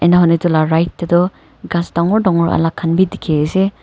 ena hoi ne etu la right te toh ghass dagor dagor alak khan bi dikhi ase.